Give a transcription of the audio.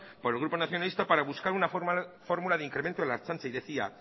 por el grupo nacionalista para buscar una fórmula de incremento en la ertzaintza y decía